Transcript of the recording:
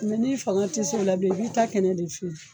n'i fanga tɛ se o la bilen i bɛ i ta kɛnɛ de feere.